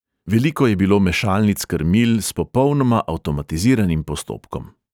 Veliko je bilo mešalnic krmil s popolnoma avtomatiziranim postopkom.